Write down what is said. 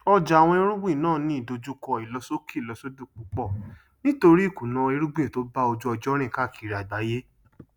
ọjà àwọn irúgbìn náà ní ìdojúkọ ìlọsókèlọsódò púpọ nítorí ìkùnà irúgbìn tó bá ojú ọjọ rìn káàkiri àgbáyé